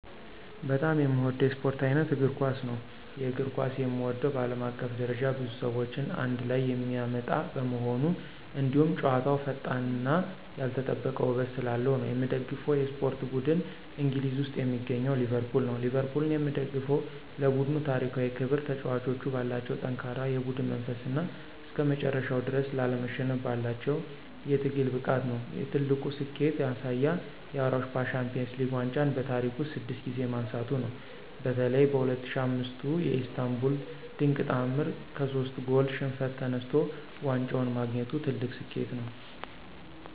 በጣም የምወደው የስፖርት ዓይነት እግር ኳስ ነው። የእግር ኳስን የምወደው በዓለም አቀፍ ደረጃ ብዙ ሰዎችን አንድ ላይ የሚያመጣ በመሆኑ፣ እንዲሁም ጨዋታው ፈጣንነትና ያልተጠበቀ ውበት ስላለው ነው። የምደግፈው የስፖርት ቡድን እንግሊዝ ውስጥ የሚገኘው ሊቨርፑል ነው። ሊቨርፑልን የምደግፈው ለቡድኑ ታሪካዊ ክብር፣ ተጫዋቾቹ ባላቸው ጠንካራ የቡድን መንፈስና እስከመጨረሻው ድረስ ላለመሸነፍ ባላቸው የትግል ብቃት ነው። የትልቁ ስኬቱ ማሳያ የአውሮፓ ሻምፒዮንስ ሊግ ዋንጫን በታሪክ ውስጥ ስድስት ጊዜ ማንሳቱ ነው። በተለይ በ2005ቱ የኢስታንቡል ድንቅ ተዓምር ከሶስት ጎል ሽንፈት ተነስቶ ዋንጫውን ማግኘቱ ትልቁ ስኬቱ ነው።